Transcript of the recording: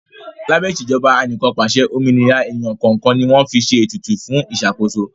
Lábẹ́ Ìṣèjọba Anìkànpàṣẹ, òmìnira èèyàn kọ̀ọ̀kan ni wọ́n fi ṣe ètùtù fún ìṣàkóso